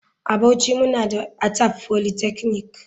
A bauchi muna da Atap polytechnic.